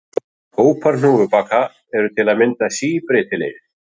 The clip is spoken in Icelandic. Hópar hnúfubaka eru til að mynda síbreytilegir.